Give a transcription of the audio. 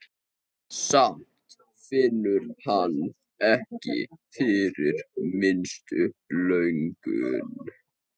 Samt finnur hann ekki fyrir minnstu löngun.